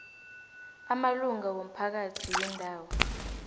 amalunga womphakathi wendawo